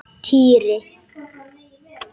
Týri!